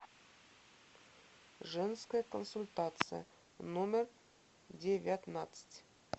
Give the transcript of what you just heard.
женская консультация номер девятнадцать